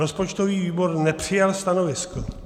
Rozpočtový výbor nepřijal stanovisko.